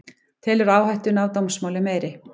Telur áhættuna af dómsmáli meiri